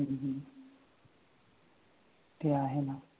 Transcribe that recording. ते आहे ना